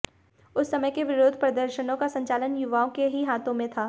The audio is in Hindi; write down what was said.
उस समय के विरोध प्रर्दशनों का संचालन युवाओं के ही हाथों में था